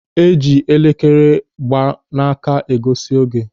E ji elekere a gba n'aka egosi oge.